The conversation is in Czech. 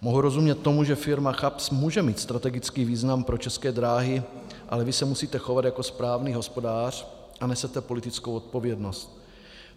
Mohu rozumět tomu, že firma CHAPS může mít strategický význam pro České dráhy, ale vy se musíte chovat jako správný hospodář a nesete politickou odpovědnost.